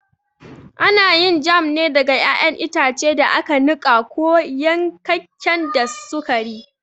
Ana yin jam ne daga ƴaƴan itace da aka niƙa ko yankakken da sukari.